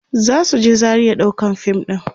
zasu je Zaria ɗaukan fim ɗin